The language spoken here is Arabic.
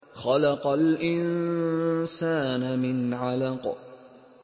خَلَقَ الْإِنسَانَ مِنْ عَلَقٍ